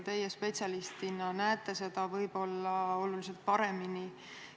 Teie spetsialistina näete seda võib-olla oluliselt paremini.